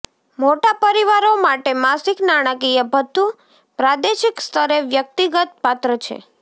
મોટા પરિવારો માટે માસિક નાણાકીય ભથ્થું પ્રાદેશિક સ્તરે વ્યક્તિગત પાત્ર છે